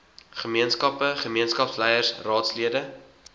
gemeenskappe gemeenskapsleiers raadslede